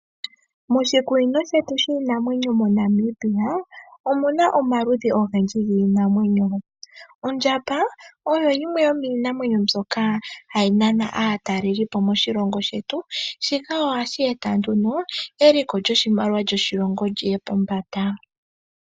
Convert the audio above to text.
Moshikunino shetu shiinamwenyo moNamibia omuna omaludhi ogendji giinamwenyo. Ondjamba oyo yimwe yomiinamwenyo mbyoka hayi nana aatalelipo moshilongo shetu shika ohashi eta eliko lyoshimaliwa lyoshilongo liye pombanda